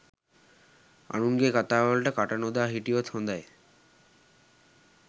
අනුන්ගේ කථාවලට කට නොදා හිටියොත් හොඳයි.